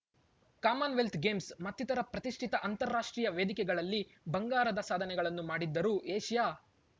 Commonwealth Games ಮತ್ತಿತರ ಪ್ರತಿಷ್ಠಿತ ಅಂತಾರಾಷ್ಟ್ರೀಯ ವೇದಿಕೆಗಳಲ್ಲಿ ಬಂಗಾರದ ಸಾಧನೆಗಳನ್ನು ಮಾಡಿದ್ದರೂ ಏಷ್ಯಾ